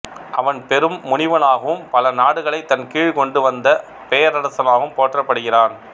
அவன் பெரும் முனிவனாகவும் பல நாடுகளைத் தன் கீழ் கொண்டு வந்த பேரரசனாகவும் போற்றப்படுகிறான்